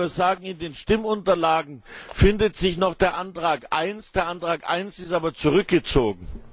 Ich wollte nur sagen, in den Stimmunterlagen findet sich noch der Antrag 1. Der Antrag 1 ist aber zurückgezogen!